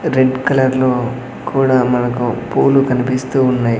Red colour లో కూడా మనకు పూలు కనిపిస్తూ ఉన్నాయి.